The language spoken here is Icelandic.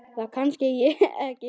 Það kannast ég ekki við.